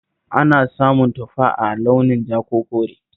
Ana samun tufa a launin ja ko kore